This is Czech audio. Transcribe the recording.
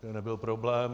To nebyl problém.